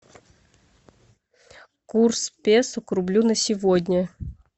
курс песо к рублю на сегодня